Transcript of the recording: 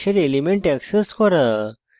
hash elements access করা